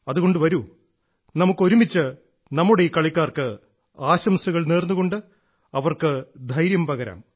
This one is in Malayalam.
അതുകൊണ്ട് വരൂ നമുക്ക് ഒരുമിച്ച് നമ്മുടെ ഈ കളിക്കാർക്ക് ആശംസകൾ നേർന്നുകൊണ്ട് അവർക്ക് ധൈര്യം പകരാം